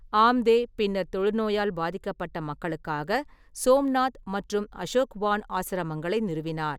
ஆம்தே பின்னர் தொழுநோயால் பாதிக்கப்பட்ட மக்களுக்காக "சோம்நாத்" மற்றும் "அசோக்வான்" ஆசிரமங்களை நிறுவினார்.